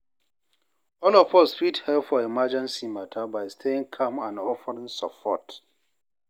all of us fit help for emergency mata by staying calm and offering support.